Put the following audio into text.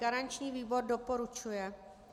Garanční výbor doporučuje.